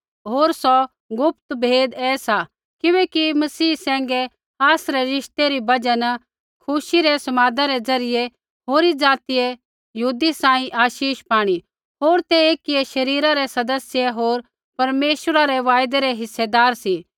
होर सौ गुप्त भेद ऐ सा किबैकि मसीह सैंघै आसरै रिश्ते री बजहा न खुशी रै समादा रै ज़रियै होरी ज़ातियै यहूदी सांही आशीष पाणी होर ते एकियै शरीरा रै सदस्य होर परमेश्वरा रै वायदै रै हिस्सेदार सी